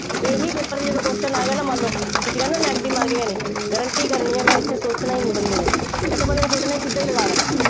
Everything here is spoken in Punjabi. ਇਹੀ paper ਚ ਜਦੋਂ question ਆ ਗਿਆ, ਨਾ, ਮੰਨ ਲਓ, ਤੁਸੀਂ ਕਿਹਾ ਨਾ negative marking ਹੈ ਨਹੀਂ, guarantee ਕਰਨੀ ਹੈ ਮੈਂ, ਇੱਥੇ ਸੋਚਣਾ ਹੀ ਨਹੀਂ ਬੰਦੇ ਨੇ, ਇੱਥੇ ਬੰਦੇ ਨੇ ਸੋਚਣਾ ਨਹੀਂ, ਸਿੱਧਾ ਹੀ ਲਗਾ ਦੇਣਾ।